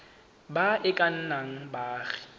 ba e ka nnang baagi